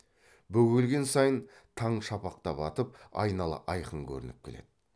бөгелген сайын таң шапақтап атып айнала айқын көрініп келеді